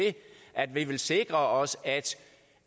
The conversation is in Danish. at vi vil sikre os